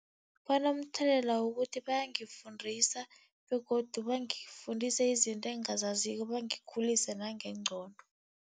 Banomthelela wokuthi bayangifundisa begodu bangifundise izinto engingazaziko, bangikhulise nangengqondo.